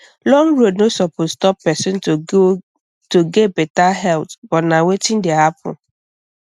long road no suppose stop person to get better health but na wetin dey happen